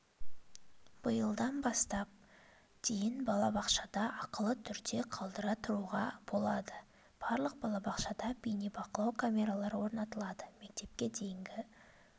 биылдан бастап дейін балабақшада ақылы түрде қалдыра тұруға болады барлық балабақшада бейнебақылау камералары орнатылады мектепке дейінгі